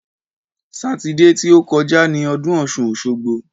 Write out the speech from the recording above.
Sátidé ti ó kọjá ni ọdún ọ̀ṣun-òṣogbo.